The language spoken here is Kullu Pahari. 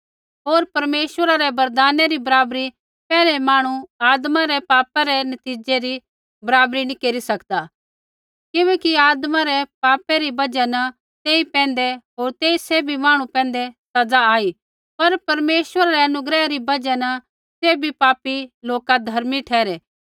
होर परमेश्वरा रै वरदाना री बराबरी पैहलै मांहणु आदमा रै पापै रै नतीज़ै री बराबरी नी केरी सकदै किबैकि आदमा रै पापा री बजहा न तेई पैंधै होर सैभी मांहणु जाति पैंधै सज़ा आई पर परमेश्वरा रै अनुग्रह री बजहा न सैभी पापी लोक धर्मी ठहरै